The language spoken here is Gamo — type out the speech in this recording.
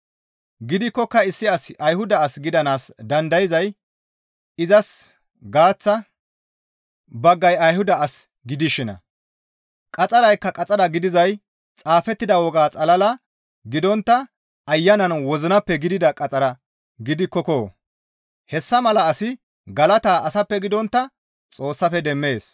Gidikkoka issi asi Ayhuda as gidanaas dandayzay izas gaaththa baggay Ayhuda as gidishinna. Qaxxaraykka qaxxara gidizay xaafettida woga xalala gidontta Ayanan wozinappe gidida qaxxara gidikkoko! Hessa mala asi galata asappe gidontta Xoossafe demmees.